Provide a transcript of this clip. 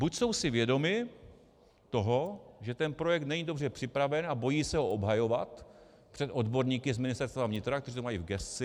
Buď jsou si vědomi toho, že ten projekt není dobře připraven, a bojí se ho obhajovat před odborníky z Ministerstva vnitra, kteří to mají v gesci.